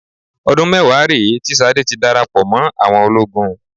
Ọdún mẹ́wàá rèé tí Ṣadé ti darapọ̀ mọ́ àwọn ológun